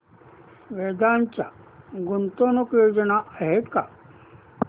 वेदांत च्या गुंतवणूक योजना आहेत का